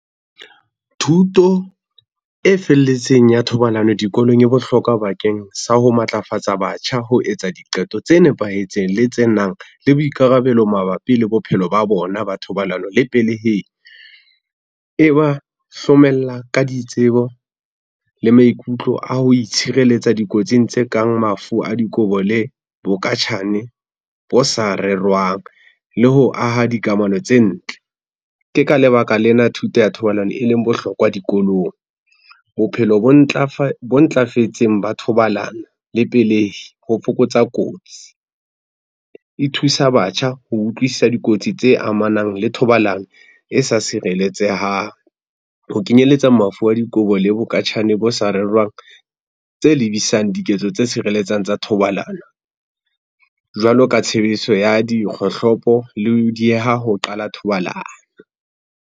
Thuto e felletseng ya thobalano dikolong e bohlokwa bakeng sa ho matlafatsa batjha ho etsa diqeto tse nepahetseng le tse nang le boikarabelo mabapi le bophelo ba bona ba thobalano le peleheng. E ba hlomella ka ditsebo le maikutlo a ho itshireletsa dikotsing tse kang mafu a dikobo le bokatjhane bo sa rerwang le ho aha dikamano tse ntle. Ke ka lebaka lena thuto ya thobalano eleng bohlokwa dikolong. Bophelo bo ntlafetseng ba thobalano le pelehi ho fokotsa kotsi. E thusa batjha ho utlwisisa dikotsi tse amanang le thobalano e sa sireletsehang, ho kenyeletsa mafu a dikobo le bokatjhane bo sa rerwang tse lebisang diketso tse sireletsang tsa thobalano jwalo ka tshebediso ya dikgohlopo le ho dieha ho qala thobalano.